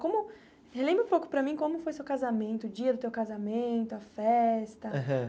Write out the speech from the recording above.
Como... Relembra um pouco para mim como foi seu casamento, o dia do teu casamento, a festa. Aham